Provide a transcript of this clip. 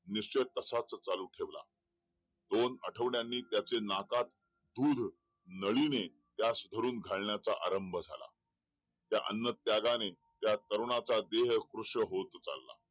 निश्चय तसाच चालू ठेवला दोन आठवड्याने त्याच्या नाकात दूध नळी ने त्यास धरून घालण्याचा आरंभ झाला त्या अन्न त्यागाने त्या तरुणाचा देह कृश होत चाला